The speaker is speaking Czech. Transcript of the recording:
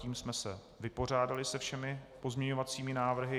Tím jsme se vypořádali se všemi pozměňovacími návrhy.